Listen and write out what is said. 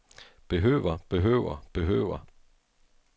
behøver behøver behøver